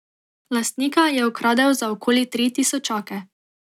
Lastnika je okradel za okoli tri tisočake.